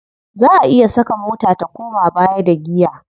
Za a iya saka mota ta koma baya da giya.